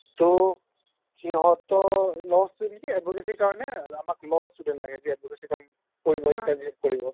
to সিহঁতৰ laws টো নেকি advocacy ৰ কাৰণে আমাক law student লাগে যিয়ে advocacy ৰ কাম কৰিব internship কৰিব